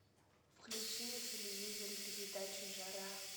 включи на телевизоре передачу жара